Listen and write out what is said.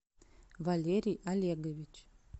валерий олегович